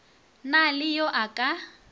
na le yo a ka